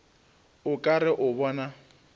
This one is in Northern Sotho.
o ka re o bona